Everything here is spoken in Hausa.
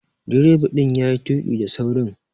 Direba din ya yi tuki da saurin.